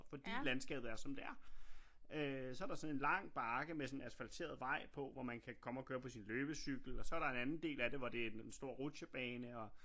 Fordi landskabet er som det er øh så der sådan en lang bakke med sådan en asfalteret vej på hvor man kan komme og køre på sin løbecykel og så er der en anden del af det hvor det en stor rutsjebane og